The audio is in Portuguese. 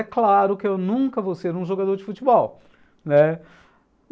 É claro que eu nunca vou ser um jogador de futebol, né?